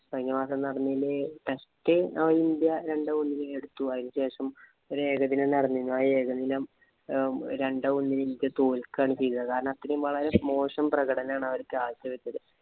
കഴിഞ്ഞ മാസം നടന്നതില് test നമ്മുടെ ഇന്ത്യ രണ്ടുമൂന്നു എടുത്തു. ശേഷം ഒരു ഏകദിനം നടന്നിരുന്നു. ആ ഏകദിനം രണ്ടേ ഒന്നിന് ഇന്ത്യ തോല്‍ക്കുകയാണ് ചെയ്തത്. കാരണം, അത്രേം വളരെ മോശം പ്രകടനമാണ് അവര് കാഴ്ച വച്ചത്.